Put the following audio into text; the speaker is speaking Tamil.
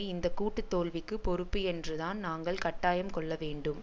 இந்த கூட்டு தோல்விக்குப் பொறுப்பு என்றுதான் நாங்கள் கட்டாயம் கொள்ள வேண்டும்